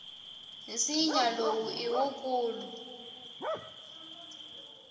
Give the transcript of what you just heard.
nsinya lowu i wukulu